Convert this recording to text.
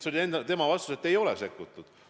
See oli tema vastus: ei ole sekkutud.